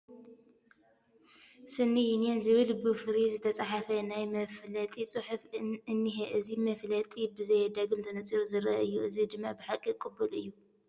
ስኒ ዪኒየን ዝብል ብፍሩይ ዝተፀሓፈ ናይ መፋለጢ ፅሑፍ እኒሀ፡፡ እዚ መፋለጢ ብዘየዳግም ተነፂሩ ዝርአ እዩ፡፡ እዚ ድማ ብሓቂ ቅቡል እዩ፡፡